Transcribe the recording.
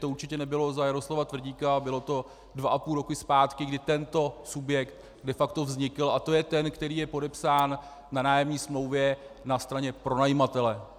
To určitě nebylo za Jaroslava Tvrdíka a bylo to dva a půl roku zpátky, kdy tento subjekt de facto vznikl, a to je ten, který je podepsán na nájemní smlouvě na straně pronajímatele.